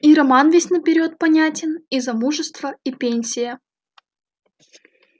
и роман весь наперёд понятен и замужество и пенсия